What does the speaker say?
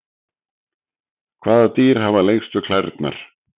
Hvaða dýr hafa lengstu klærnar?